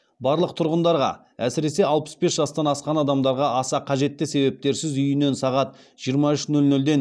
барлық тұрғындарға әсіресе алпыс бес жастан асқан адамдарға аса қажетті себептерсіз үйінен сағат жиырма үш нөл нөлден